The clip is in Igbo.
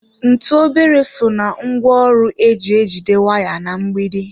Ntụ obere so ná ngwaọrụ eji ejide waya na mgbidi.